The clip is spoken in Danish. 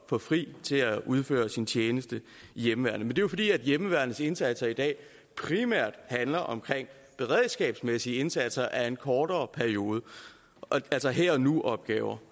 få fri til at udføre sin tjeneste i hjemmeværnet er jo fordi hjemmeværnets indsatser i dag primært handler om beredskabsmæssige indsatser af en kortere periode altså her og nu opgaver